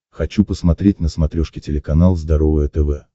хочу посмотреть на смотрешке телеканал здоровое тв